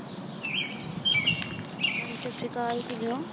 ਹਾਂਜੀ ਸਤਿ ਸ਼੍ਰੀ ਅਕਾਲ ਕਿਵੇਂ ਓ?